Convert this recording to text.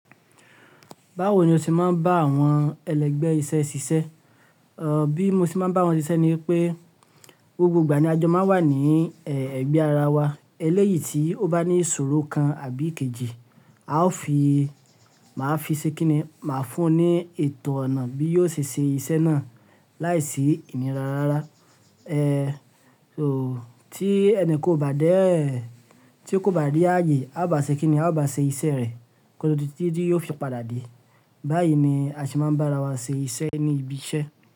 Báwo ni o ṣe máa ń bá àwọn ẹlẹgbẹ́ iṣẹ́ ṣiṣẹ́? Bí mo ṣe máa ń bá wọn ṣiṣẹ́ ni pé gbogbo ìgbà ni ajọ máa n wà ní ẹ̀gbẹ́ ara wa. Eléyìí tí ó bá ní ìṣòro kan àbí kejì, a ó fi, màá fi ṣekìnní, màá fún un ní ètò ọ̀nà bí yóò ṣe ṣe iṣẹ́ náà láìsí ìnira rárá. Tí ẹnìkan ò bá dé, tí kò bá rí ààyè, a bá ṣekìnní, a ó bá ṣe iṣẹ́ rẹ̀ kótó di títí yóò fi padà dé. Báyìí ni a se máa ń bá ara wa ṣe iṣẹ́ ní ibi iṣẹ́